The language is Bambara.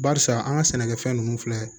Barisa an ka sɛnɛkɛfɛn ninnu filɛ